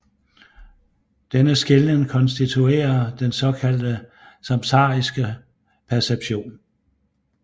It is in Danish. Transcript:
Denne skelnen konstituerer den såkaldte samsariske perception